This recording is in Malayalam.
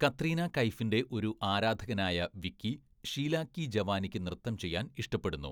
കത്രീന കൈഫിന്റെ ഒരു ആരാധകനായ വിക്കി, ഷീല കി ജവാനിയ്ക്ക് നൃത്തം ചെയ്യാൻ ഇഷ്ടപ്പെടുന്നു.